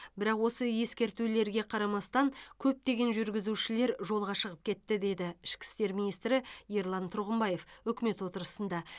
бірақ осы ескертулерге қарамастан көптеген жүргізуші жолға шығып кетті деді ішкі істер министрі ерлан тұрғымбаев үкімет отырысында